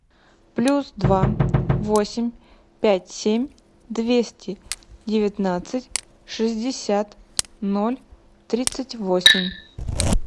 плюс два восемь пять семь двести девятнадцать шестьдесят ноль тридцать восемь